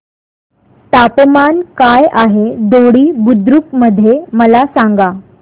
तापमान काय आहे दोडी बुद्रुक मध्ये मला सांगा